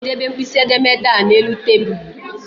Ọ ga-edebe mkpịsị edemede a n'elu tabuulu